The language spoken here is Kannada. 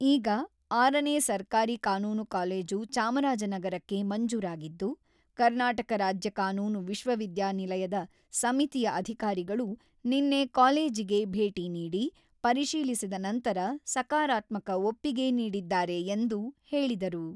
ಈಗ ಆರನೇ ಸರ್ಕಾರಿ ಕಾನೂನು ಕಾಲೇಜು ಚಾಮರಾಜನಗರಕ್ಕೆ ಮಂಜೂರಾಗಿದ್ದು, ಕರ್ನಾಟಕ ರಾಜ್ಯ ಕಾನೂನು ವಿಶ್ವವಿದ್ಯಾನಿಲಯದ ಸಮಿತಿಯ ಅಧಿಕಾರಿಗಳು ನಿನ್ನೆ ಕಾಲೇಜಿಗೆ ಭೇಟಿ ನೀಡಿ ಪರಿಶೀಲಿಸಿದ ನಂತರ ಸಕಾರಾತ್ಮಕ ಒಪ್ಪಿಗೆ ನೀಡಿದ್ದಾರೆ ಎಂದು ಹೇಳಿದರು.